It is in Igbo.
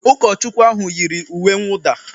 Ụkọchukwu ahụ yiri uwe nwụda